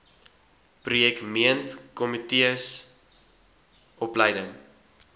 projek meentkomitees opleiding